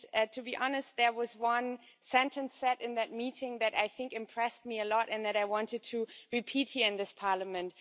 To be honest, there was one sentence said in that meeting that impressed me a lot, and that I wanted to repeat here in this Parliament.